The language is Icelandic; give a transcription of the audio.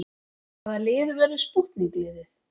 Hvaða lið verður spútnik liðið?